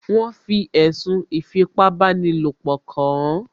Wọ́n fi ẹ̀sùn ìfipábanílòpọ̀ kàán